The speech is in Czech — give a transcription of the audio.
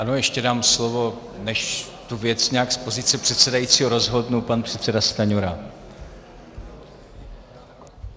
Ano, ještě dám slovo, než tu věc nějak z pozice předsedajícího rozhodnu, pan předseda Stanjura.